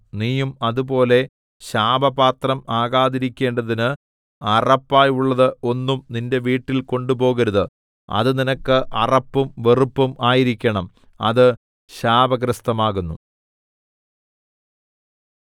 നീയും അതുപോലെ ശാപപാത്രം ആകാതിരിക്കേണ്ടതിന് അറപ്പായുള്ളത് ഒന്നും നിന്റെ വീട്ടിൽ കൊണ്ടുപോകരുത് അത് നിനക്ക് അറപ്പും വെറുപ്പും ആയിരിക്കേണം അത് ശാപഗ്രസ്തമാകുന്നു